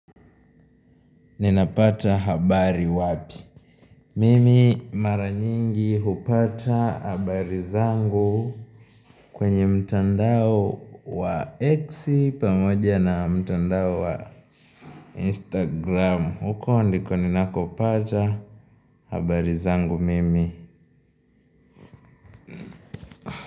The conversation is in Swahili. Ninapata habari wapi? Mimi mara nyingi hupata habari zangu kwenye mtandao wa exi pamoja na mtandao wa instagram. Huko ndiko ninakopacha habari zangu mimi.